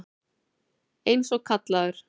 Eins og kallaður.